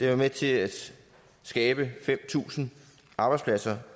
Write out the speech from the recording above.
var med til at skabe fem tusind arbejdspladser